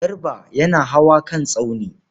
Garba yana hawa kan tsauni.